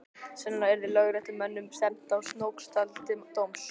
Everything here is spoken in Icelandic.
Sennilega yrði lögréttumönnum stefnt að Snóksdal til dóms.